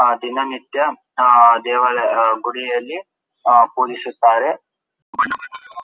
ಆ ದಿನ ನಿತ್ಯ ಆ ದೇವಾಲಯ ಗುಡಿಯಲ್ಲಿ ಪೂಜಿಸುತ್ತಾರೆ.